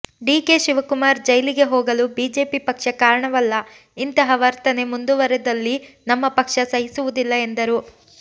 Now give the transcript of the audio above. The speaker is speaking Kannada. ಡಿಕೆ ಶಿವಕುಮಾರ್ ಜೈಲಿಗೆ ಹೋಗಲು ಬಿಜೆಪಿ ಪಕ್ಷ ಕಾರಣವಲ್ಲ ಇಂತಹ ವರ್ತನೆ ಮುಂದುವರೆದಲ್ಲಿ ನಮ್ಮ ಪಕ್ಷ ಸಹಿಸುವುದಿಲ್ಲ ಎಂದರು